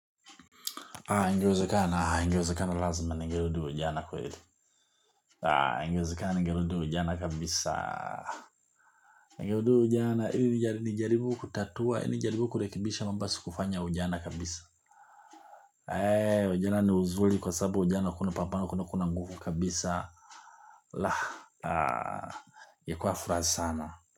Ingewezekana ingewezekana lazima ningerudi ujana kweli. Ingewezekana ningerudi ujana kabisa. Ningerudi ujana ili nijaribu kutatua, nijaribu kurekebisha mambo ambayo sikufanya jana kabisa. Eee, ujana ni uzuri kwa sababu ujana kuna pambano kuna kuna nguvu kabisa. La, ingekua furaha sana.